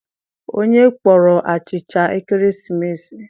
Onye kpọrọ achicha ekeresimesi?